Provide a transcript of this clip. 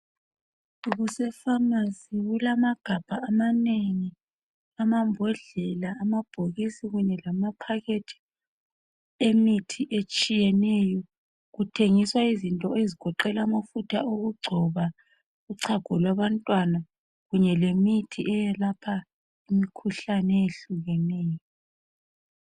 Kuse pharmacy kulamagabha amanengi, amambodlela kunye lamaphakethi lemithi etshiyeneyo kuthengiswa izinto ezigoqela amafutha okugcoba, uchago kwabantwana kanye lemithi evikela imkhuhlane eyehlukeneyo